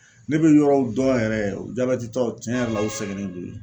Ne bɛ yɔrɔw dɔn yɛrɛ jabɛti taw tiɲɛ yɛrɛ la u sɛgɛnnen don yen.